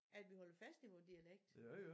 At vi holder fast i vore dialekt